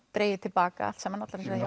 dregið til baka allt saman allar þessar